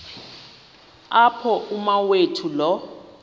apho umawethu lo